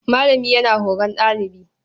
Malami yana horon ɗalibi.